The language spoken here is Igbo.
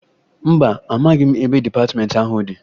Mba, amaghị m ebe dịpatịmentị ahụ dị